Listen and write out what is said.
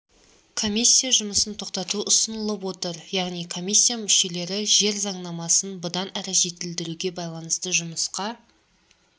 комиссия жұмысын тоқтату ұсынылып отыр яғни комиссия мүшелері жер заңнамасын бұдан әрі жетілдіруге байланысты жұмысқа